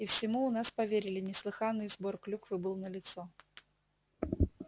и всему у нас поверили неслыханный сбор клюквы был налицо